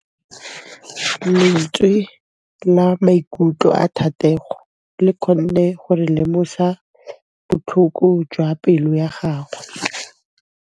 Lentswe la maikutlo a Thategô le kgonne gore re lemosa botlhoko jwa pelô ya gagwe.